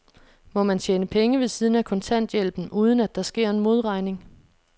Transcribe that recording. Må man tjene penge ved siden af kontanthjælpen, uden at der sker en modregning?